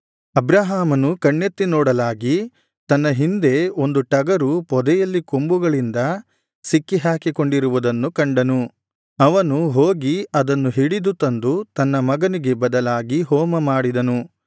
ಅಬ್ರಹಾಮನು ಕಣ್ಣೆತ್ತಿ ನೋಡಲಾಗಿ ತನ್ನ ಹಿಂದೆ ಒಂದು ಟಗರು ಪೊದೆಯಲ್ಲಿ ಕೊಂಬುಗಳಿಂದ ಸಿಕ್ಕಿ ಹಾಕಿಕೊಂಡಿರುವುದನ್ನು ಕಂಡನು ಅವನು ಹೋಗಿ ಅದನ್ನು ಹಿಡಿದು ತಂದು ತನ್ನ ಮಗನಿಗೆ ಬದಲಾಗಿ ಹೋಮಮಾಡಿದನು